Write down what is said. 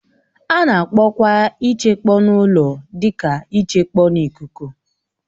A na-akpọkwa ichekpọ n'ụlọ dị ka ịchekpọ n'ikuku